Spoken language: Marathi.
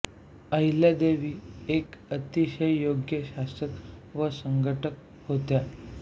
अहिल्यादेवी एक अतिशय योग्य शासक व संघटक होत्या